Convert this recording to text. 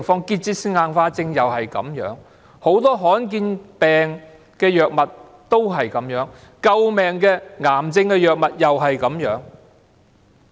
結節性硬化症也是這樣，很多罕見疾病的藥物也是這樣。救命的癌症藥物也是這樣。